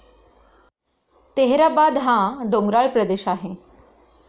तेहराबाद हा डोंगराळ प्रदेश आहे